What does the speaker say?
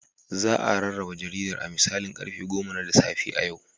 Za a rarraba jaridar da misalin karfe goma na safe a yau.